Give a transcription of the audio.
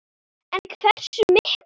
En hversu miklum?